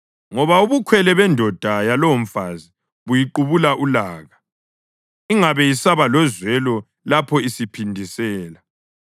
Ngoba ubukhwele bendoda yalowomfazi buyiqubula ulaka, ingabe isaba lozwelo lapho isiphindisela.